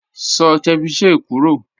Sọ̀ cẹ̀víchẹ̀ kúrọ́